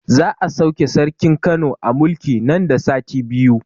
Za a sauke sarkin Kano a mulki nan da sati biyu